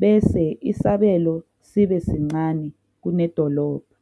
bese isabelo sibe sincane kunedolobha